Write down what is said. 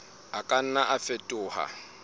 a ka nna a fetoha